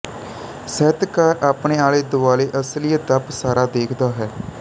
ਸਾਹਿਤਕਾਰ ਆਪਣੇ ਆਲੇ ਦੁਆਲੇ ਅਸਲੀਅਤ ਦਾ ਪਸਾਰਾ ਦੇਖਦਾ ਹੈ